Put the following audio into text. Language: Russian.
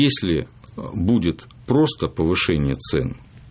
если будет просто повышение цен